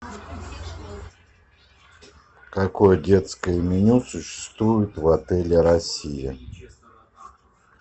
какое детское меню существует в отеле россия